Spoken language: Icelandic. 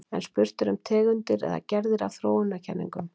En spurt er um tegundir eða gerðir af þróunarkenningum.